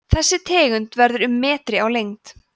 þessi tegund verður um metri á lengd